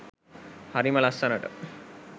හරිම ලස්සනට